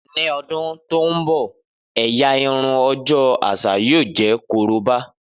Ni ọdun to nbọ ẹ́yá irun ọjọ aṣa yoo jẹ koroba.